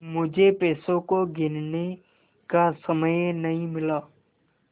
मुझे पैसों को गिनने का समय नहीं मिला